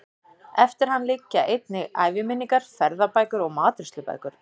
Eftir hann liggja einnig æviminningar, ferðabækur og matreiðslubækur.